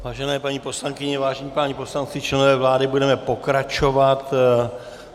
Vážené paní poslankyně, vážení páni poslanci, členové vlády, budeme pokračovat.